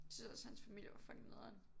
Synes også hans familie var fucking nederen